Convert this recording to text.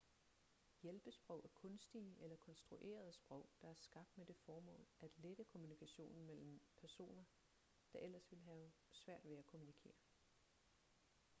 hjælpesprog er kunstige eller konstruerede sprog der er skabt med det formål at lette kommunikationen mellem personer der ellers ville have svært ved at kommunikere